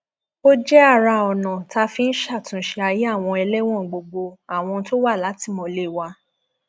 ó jẹ ara ọnà tá a fi ń ṣàtúnṣe ayé àwọn ẹlẹwọn gbogbo àwọn tó wà látìmọlé wa